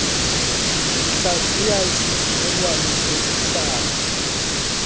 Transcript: ndihlaziya isivumelwano sokuhlala